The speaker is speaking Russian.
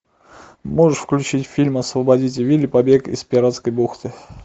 можешь включить фильм освободите вилли побег из пиратской бухты